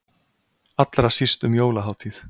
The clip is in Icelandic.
Allra síst um jólahátíð.